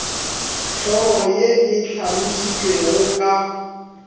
hlogo ye e hlalošitšwego ka